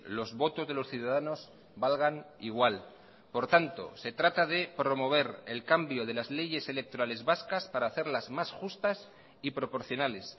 los votos de los ciudadanos valgan igual por tanto se trata de promover el cambio de las leyes electorales vascas para hacerlas más justas y proporcionales